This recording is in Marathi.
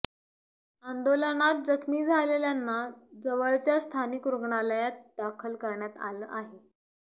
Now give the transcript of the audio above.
आंदोलनात जखमी झालेल्यांना जवळच्या स्थानिक रुग्णालयात दाखल करण्यात आलं आहे